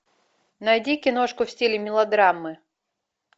найди киношку в стиле мелодрамы